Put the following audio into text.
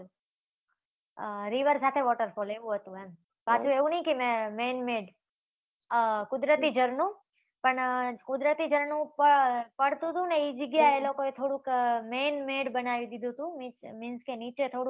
river સાથે waterfall એવુ હતું એમ, સાથે એવુ નઈ કે man made કુદરતી ઝરણું, પણ, કુદરતી ઝરણું પડતુ હતુ ને ઈ જગ્યા એ ઈ લોકો એ થોડુંક man made બનાવી દીધુ હતુ means કે નીચે થોડુંક